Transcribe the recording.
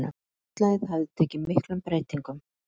Landslagið hafði tekið miklum breytingum.